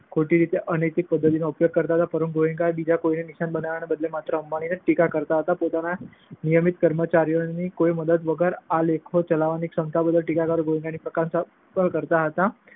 ખોટી અને અનૈતિક પદ્ધતિઓનો ઉપયોગ કરતા હોય, પરંતુ ગોએન્કા બીજા કોઈને નિશાન બનાવવાના બદલે માત્ર અંબાણીની જ ટીકા કરતા હતા. પોતાના નિયમિત કર્મચારીઓની કોઈ મદદ વગર આ લેખો ચલાવવાની ક્ષમતા બદલ ટીકાકારો ગોએન્કાની પ્રશંસા પણ કરતા હતા.